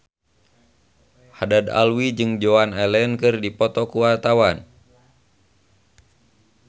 Haddad Alwi jeung Joan Allen keur dipoto ku wartawan